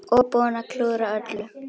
Og búinn að klúðra öllu!